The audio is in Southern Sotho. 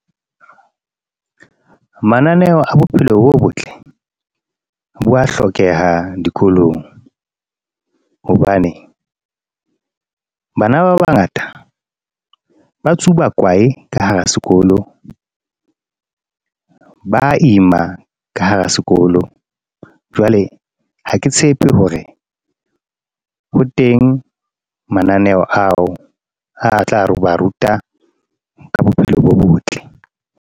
Mananeo a bophelo bo botle bo wa hlokeha dikolong. Hobane bana ba bangata ba tsuba kwae ka hara sekolo, ba ima ka hara sekolo. Jwale ha ke tshepe hore ho teng mananeo ao a tla re ho ba ruta ka bophelo bo botle.